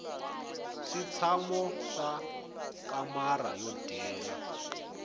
switshamo swa kamara ro dyela